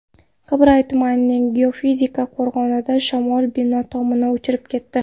Qibray tumanining Geofizika qo‘rg‘onida shamol bino tomini uchirib ketdi.